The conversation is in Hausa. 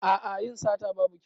A'a yin sata babu kyau.